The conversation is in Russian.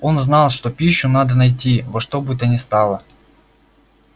он знал что пищу надо найти во что бы то ни стало